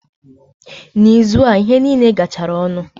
Na ịzụ a, ihe niile garachara ọnụ